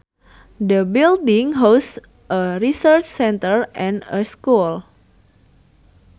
The building houses a research centre and a school